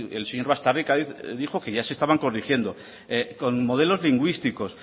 el señor baztarrika dijo que ya se estaban corrigiendo con modelos lingüísticos